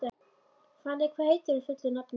Fanney, hvað heitir þú fullu nafni?